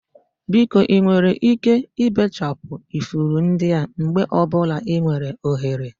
Biko ị nwere ike ibechapụ ifuru ndị a mgbe ọ bụla ị nwere ohere?